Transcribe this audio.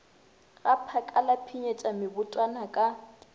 gaphaka la pshinyetša mebotwana ka